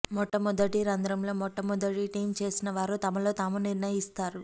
మొట్టమొదటి రంధ్రంలో మొట్టమొదట టీం చేసిన వారు తమలో తాము నిర్ణయిస్తారు